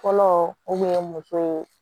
Fɔlɔ o kun ye muso ye